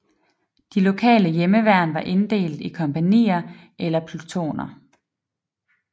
De lokale hjemmeværn var inddelt i kompagnier eller plutoner